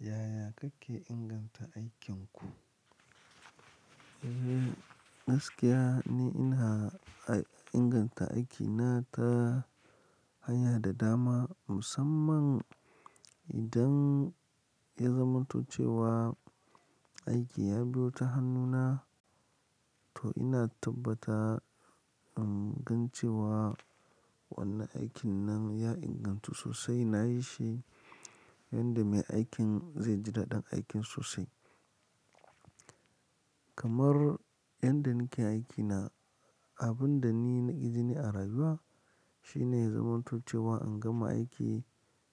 Yaya kake inganta aikin ku? Eh, gaskiya ni ina a-inganta aikina ta haya da dama, musamman idan ya zamantoce wa aiki ya biyo ta hannuna. To ina tabbata in gan cewa wannan aikin nan ya ingantu sosai, na yi shi yanda mai aikin zai ji daɗin aikin sosai. Kamar yanda nake aikina, abun da ni na ƙi jini a rayuwa shine ya zamantoce wa in gama aiki,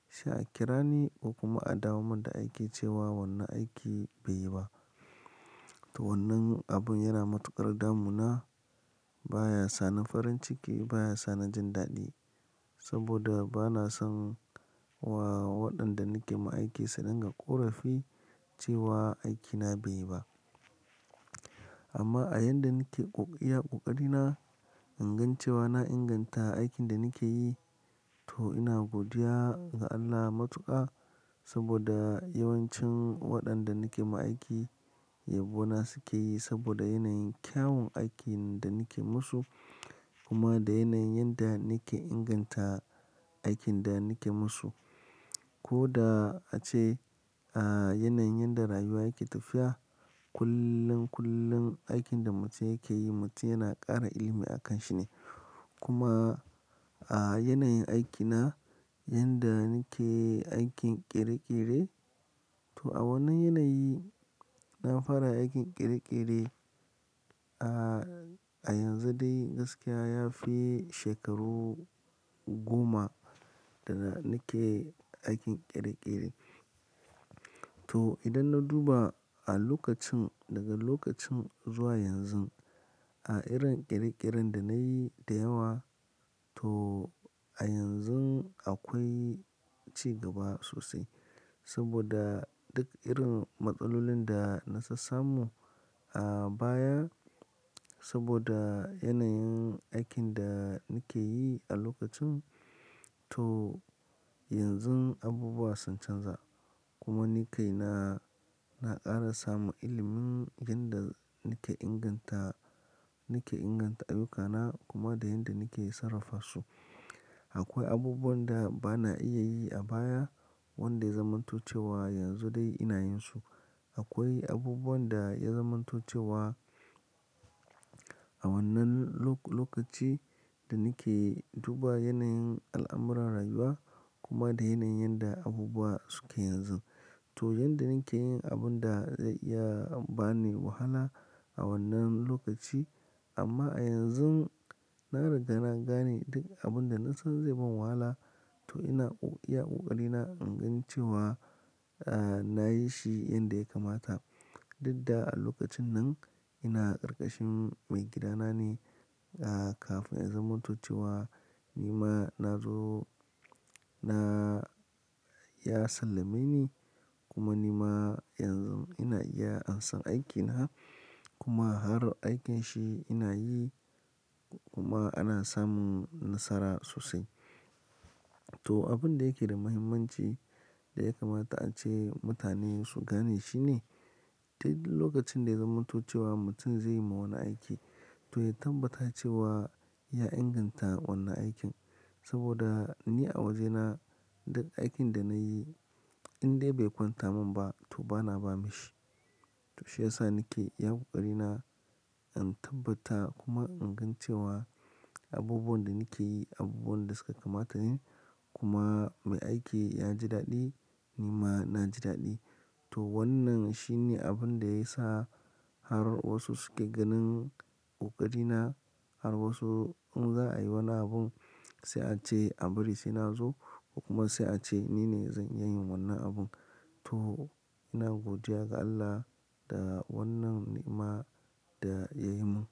sai a kira ni ko kuma a dawo min da aiki cewa wannan aiki bai yi ba. To wannan abun yana matuƙar damuna, baya sa ni farin ciki, baya sa ni jin daɗi. Saboda bana son wa-waɗanda nake ma aiki su dinga ƙorafi cewa aikina bai yi ba. Amma a yanda nake ƙoƙa, iya ƙoƙari na, in gan cewa na inganta aikin da nake yi, to ina godiya ga Allah matuƙa. Saboda yawancin waɗanda nake ma aiki yabo na suke yi saboda yanayin kyawun aikin da nake musu, kuma da yanayin yadda nake inganta aikin da nake musu. Ko da ace, a yanayin yadda rayuwa yake tafiya, kullum, kullum aikin da mutum yake yi mutum yana ƙara ilimi a kanshi ne. Kuma a yanayin aikina, yanda nake aikin ƙere-ƙere, to a wannan yanayi, na fara aikin ƙere-ƙere a, a yanzu dai gaskiya ya fi shekaru goma da nake aikin ƙere-ƙere. To idan na duba a lokacin, daga lokacin zuwa yanzu, a irin ƙere-ƙeren da na yi da yawa, to a yanzun akwai cigaba sosai. Saboda duk irin matsalolin da na sassa mu a baya, saboda yanayin aikin da nake yi a lokacin, to yanzu abubuwa sun canza. Kuma ni kai na, na ƙara samun ilimin yanda nake inganta, nake inganta ayyukana kuma da yanda nake sarrafa su. Akwai abubuwan da bana iya yi a baya wanda ya zamantoce wa yanzu dai ina yin su. Akwai abubuwan da ya zamantoce wa a wannan lo-lokaci da nake duba yanayin al'amuran rayuwa kuma da yanayin yadda abubuwa suke yanzu. To yanda nake yin abun da zai iya ba ni wahala a wannan lokaci, amma a yanzu na riga na gane duk abun da na san zai ban wahala, to ina ƙoƙa, iya ƙoƙari na in gan cewa, a, na yi shi yanda ya kamata. Dudda a lokacin nan ina ƙarƙashin maigidana ne. A, kafin ya zamantoce wa ni ma na zo na, ya sallame ni kuma ni ma yanzu ina iya ansan aikina kuma har aikinshi ina yi kuma ana samun nasara sosai. To abun da yake da muhimmanci da ya kamata ace mutane su gane shine, dai duk lokacin da ya zamantoce wa mutum zai yi ma wani aiki, to ya tabbata cewa ya inganta wannan aikin. Saboda ni a wajena duk aikin da na yi in dai bai kwanta mun ba to bana ba maishi. To shi ya sa nake iya ƙoƙari na, in tabbata kuma an gan cewa abubuwan da nake yi abubuwan ne da suka kamata ne kuma mai aiki ya ji daɗi ni ma na ji daɗi. To wannan shi ne abun da ya sa har wasu suke ganin ƙoƙari na, har wasu in za a yi wani abun sai a ce a bari sai na zo kuma sai a ce nine zan iya yin wannan abun. To ina godiya ga Allah da wannan ni'ma da ya yi mun.